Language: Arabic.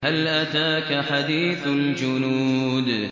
هَلْ أَتَاكَ حَدِيثُ الْجُنُودِ